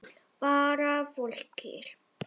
Bara fólki.